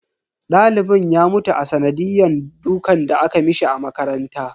Dalibin ya mutu a sanadiyan dukan da aka mishi a makaranta.